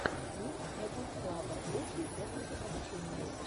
микс эдванс клаба лучшие техники обучения